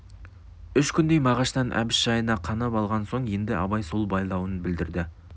үш күндей мағаштан әбіш жайына қанып алған соң енді абай сол байлауын білдірді